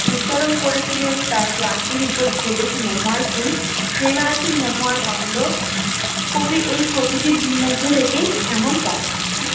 উচ্চারণ করেছিলেন তাঁর ক্লান্তির উপর ঝরুক মহুয়ার ফুল সে মাসুম মহুবর গন্ধ, কবি এই প্রকৃতির থেকেই ঐমন